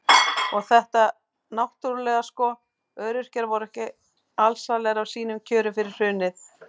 Og þetta náttúrulega sko, öryrkjar voru ekki alsælir af sínum kjörum fyrir hrunið.